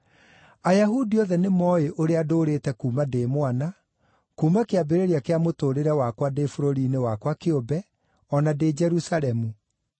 “Ayahudi othe nĩmooĩ ũrĩa ndũũrĩte kuuma ndĩ mwana, kuuma kĩambĩrĩria kĩa mũtũũrĩre wakwa ndĩ bũrũri-inĩ wakwa kĩũmbe, o na ndĩ Jerusalemu.